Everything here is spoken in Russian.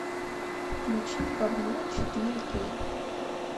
включи бабло четыре кей